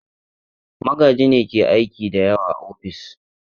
Magaji ne ke aiki da yawa a ofis.